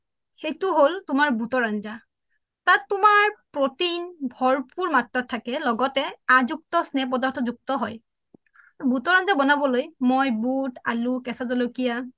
সেইটো হল তোমাৰ বোতৰ আঞ্জা তাত তোমাৰ protein ভৰপূৰ মাত্ৰাত থাকে লগতে আজুক্ত স্নেহ প্ৰদাৰ্থ যুক্ত হয় বোতৰ আঞ্জা বনাবলৈ মই বোত আলো কেঁচা জলকীয়া